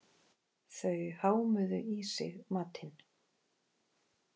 Þau hámuðu í sig matinn.